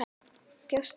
Bjóst í þinni íbúð.